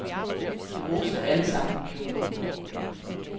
De roste alle sammen kjolen.